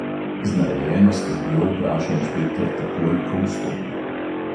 Z narejeno skrbjo vpraša inšpektor takoj, ko vstopi.